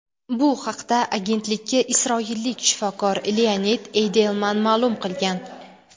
Bu haqda agentlikka isroillik shifokor Leonid Eydelman ma’lum qilgan.